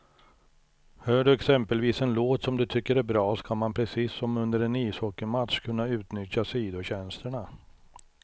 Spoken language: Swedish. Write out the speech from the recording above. Hör du exempelvis en låt som du tycker är bra, ska man precis som under en ishockeymatch kunna utnyttja sidotjänsterna.